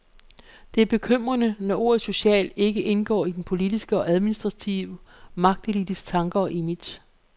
Det er bekymrende, når ordet social ikke indgår i den politiske og administrative magtelites tanker og image.